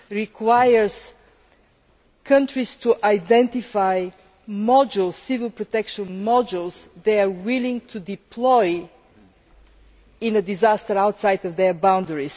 requires countries to identify modules, civil protection modules, which they are willing to deploy in a disaster outside of their borders.